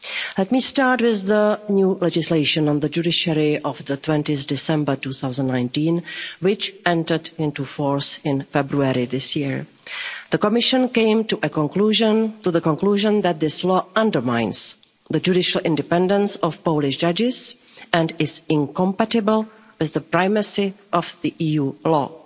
Let me start with the new legislation on the judiciary of 20 December 2019, which entered into force in February this year. The Commission came to the conclusion that this law undermines the judicial independence of Polish judges and is incompatible with the primacy of EU law.